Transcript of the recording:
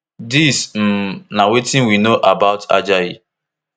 dis um na wetin we know about ajayi